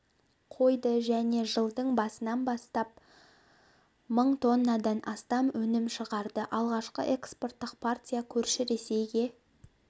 қойды және жылдың басынан бастап мың тоннадан астам өнім шығарды алғашқы экспорттық партия көрші ресейге